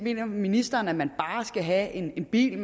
mener ministeren at man bare skal have en bil